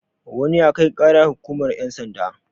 wani ya Kai ƙara hukumar yansanda